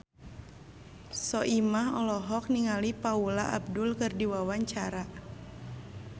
Soimah olohok ningali Paula Abdul keur diwawancara